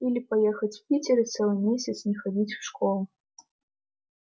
или поехать в питер и целый месяц не ходить в школу